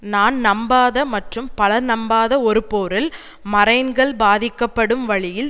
நான் நம்பாத மற்றும் பலர் நம்பாத ஒரு போரில் மரைன்கள் பாதிக்கப்படும் வழியில்